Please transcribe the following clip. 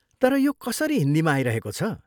तर यो कसरी हिन्दीमा आइरहेको छ?